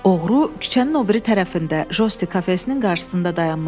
Oğru küçənin o biri tərəfində jostin kafesinin qarşısında dayanmışdı.